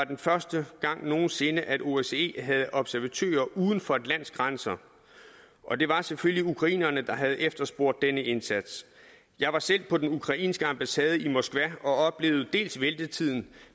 den første gang nogen sinde at osce havde observatører uden for et lands grænser og det var selvfølgelig ukrainerne der havde efterspurgt denne indsats jeg var selv på den ukrainske ambassade i moskva og oplevede dels ventetiden